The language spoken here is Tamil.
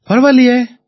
பரவாயில்லையே